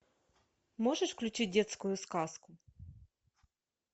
можешь включить детскую сказку